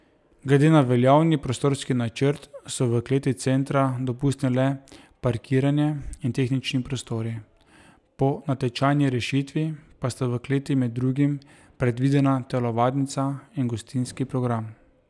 Glede na veljavni prostorski načrt so v kleti centra dopustni le parkiranje in tehnični prostori, po natečajni rešitvi pa sta v kleti med drugim predvidena telovadnica in gostinski program.